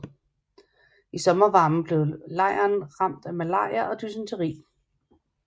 I sommervarmen blev lejren rammet af malaria og dysenteri